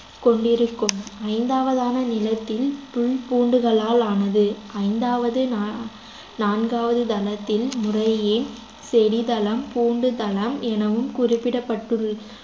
கொண்டிருக்கும் ஐந்தாவதான நிலத்தில் புல் பூண்டுளால் ஆனது ஐந்தாவது நா~ நான்காவது தளத்தில் முறையே செடிதளம் பூண்டுதளம் எனவும் குறிப்பிடப்படுள்~